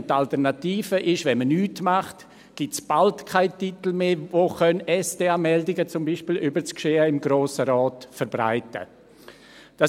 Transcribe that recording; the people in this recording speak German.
Wenn man nichts tut, ist die Alternative, dass es bald keine Titel mehr geben wird, die SDA-Meldungen, zum Beispiel über das Geschehen im Grossen Rat, verbreiten können.